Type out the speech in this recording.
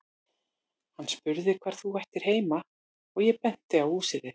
Hann spurði hvar þú ættir heima og ég benti á húsið þitt.